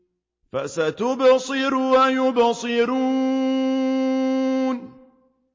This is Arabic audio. فَسَتُبْصِرُ وَيُبْصِرُونَ